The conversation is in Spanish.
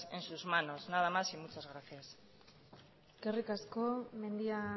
en sus manos nada más y muchas gracias eskerrik asko mendia